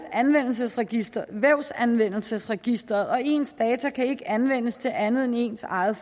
vævsanvendelsesregisteret og ens data kan ikke anvendes til andet end ens egen